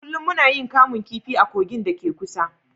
Kullum muna yin kamun kifi a kogin da ke kusa